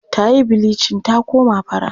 Ta yi bilicin ta koma fara.